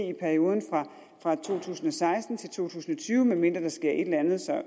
i perioden fra to tusind og seksten til to tusind og tyve medmindre der sker et eller andet